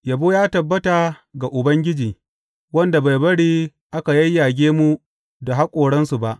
Yabo ya tabbata ga Ubangiji, wanda bai bari aka yayyage mu da haƙoransu ba.